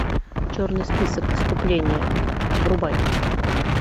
черный список искупление врубай